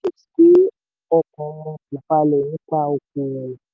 ọkàn wọn kò balẹ̀ nípa okoòwò.